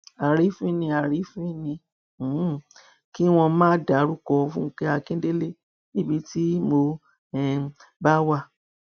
àrífín ni àrífín ni um kí wọn máa dárúkọ fúnkẹ akíndélé níbi tí mo um bá wà